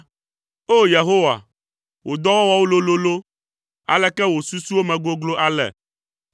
O! Yehowa, wò dɔwɔwɔwo lolo loo, aleke wò susuwo me goglo ale?